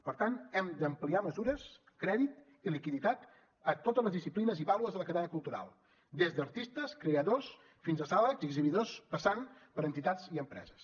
per tant hem d’ampliar mesures crèdit i liquiditat a totes les disciplines i baules de la cadena cultural des d’artistes creadors fins a sales i exhibidors passant per entitats i empreses